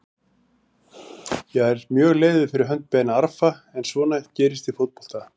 Ég er mjög leiður fyrir hönd Ben Arfa en svona gerist í fótbolta.